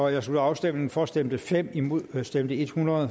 jeg slutter afstemningen for stemte fem imod stemte hundrede